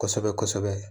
Kosɛbɛ kosɛbɛ kosɛbɛ